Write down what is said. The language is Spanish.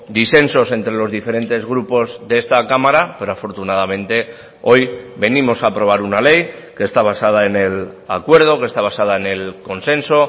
disensos entre los diferentes grupos de esta cámara pero afortunadamente hoy venimos a aprobar una ley que está basada en el acuerdo que está basada en el consenso